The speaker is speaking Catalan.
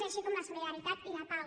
així com la solidaritat i la pau